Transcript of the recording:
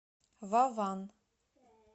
ваван